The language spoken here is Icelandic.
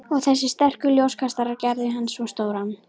Og þessir sterku ljóskastarar gerðu hann svo stóran.